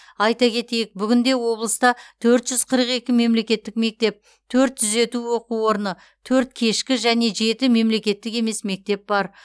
айта кетейік бүгінде облыста төрт жүз қырық екі мемлекеттік мектеп төрт түзету оқу орны төрт кешкі және жеті мемлекеттік емес мектеп бар